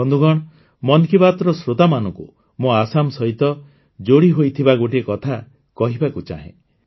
ବନ୍ଧୁଗଣ ମନ୍ କି ବାତ୍ର ଶ୍ରୋତାମାନଙ୍କୁ ମୁଁ ଆସାମ ସହିତ ଯୋଡ଼ିହୋଇଥିବା ଗୋଟିଏ କଥା କହିବାକୁ ଚାହେଁ